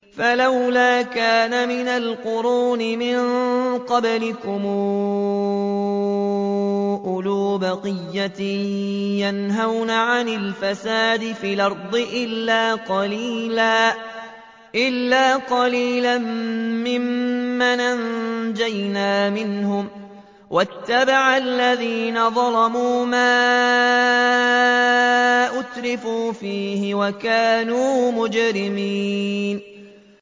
فَلَوْلَا كَانَ مِنَ الْقُرُونِ مِن قَبْلِكُمْ أُولُو بَقِيَّةٍ يَنْهَوْنَ عَنِ الْفَسَادِ فِي الْأَرْضِ إِلَّا قَلِيلًا مِّمَّنْ أَنجَيْنَا مِنْهُمْ ۗ وَاتَّبَعَ الَّذِينَ ظَلَمُوا مَا أُتْرِفُوا فِيهِ وَكَانُوا مُجْرِمِينَ